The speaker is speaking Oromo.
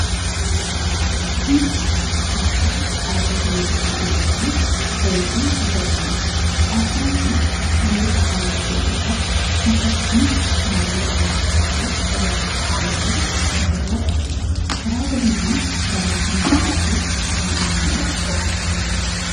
Kun aasxaa dhaabbata miidiyaa Ejensii Pireesii Itiyoophiyaati. Aasxaan kun saanduqa halluu keelloo qabu kan fakkiin baallee allaattii fakkaatu irra qaxxaamuree jiru ofirraa qaba. Karaa gadiitiin barreeffama gabaajee afaan Amaaraa ofirraa qaba.